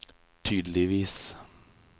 tydeligvis